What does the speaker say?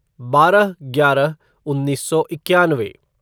बारह ग्यारह उन्नीस सौ इक्यानवे